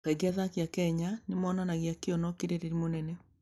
Kaingĩ athaki a Kenya nĩ monanagia kĩyo na ũkirĩrĩria mũnene.